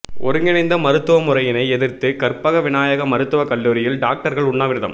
ஒருங்கிணைந்த மருத்துவ முறையினை எதிர்த்து கற்பக விநாயகா மருத்துவ கல்லூரியில் டாக்டர்கள் உண்ணாவிரதம்